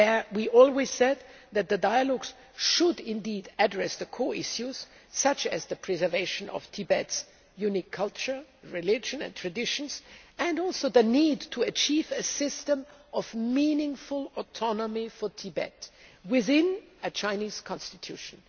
We have always said that the dialogues should address the core issues, such as the preservation of Tibet's unique culture, religion and traditions as well as the need to achieve a system of meaningful autonomy for Tibet within a Chinese constitution.